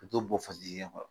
Ka t'o bɔn dingɛ kɔnɔ